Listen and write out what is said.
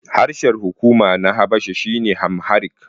Harshen hukuma na Habasha shine Amharic.